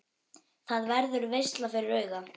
Það verður veisla fyrir augað.